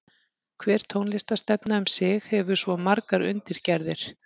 Hver tónlistarstefna um sig hefur svo margar undirgerðir.